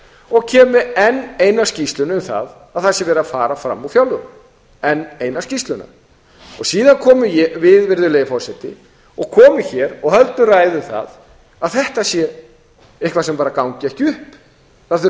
og kemur með enn eina skýrsluna um það að það sé verið að a fram úr fjárlögum enn eina skýrsluna síðan komum við virðulegi forseti og komum hér og höldum ræðu um það að þetta sé eitthvað sem bara gangi ekki upp það þurfi að